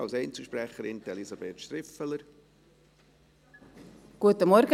Als Einzelsprecherin: Elisabeth Striffeler.